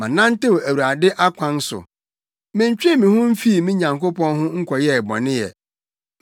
Manantew Awurade akwan so. Mentwee me ho mfii me Nyankopɔn ho nkɔyɛɛ bɔne ɛ.